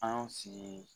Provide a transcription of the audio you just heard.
An y'o sigi